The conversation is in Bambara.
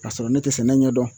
Kasɔrɔ ne te sɛnɛ ɲɛ dɔn